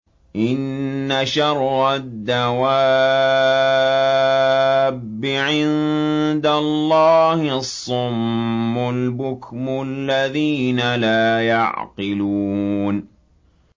۞ إِنَّ شَرَّ الدَّوَابِّ عِندَ اللَّهِ الصُّمُّ الْبُكْمُ الَّذِينَ لَا يَعْقِلُونَ